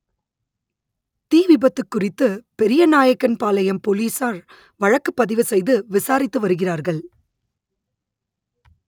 தீ விபத்து குறித்து பெரியநாயக்கன்பாளையம் போலீசார் வழக்கு பதிவு செய்து விசாரித்து வருகிறார்கள்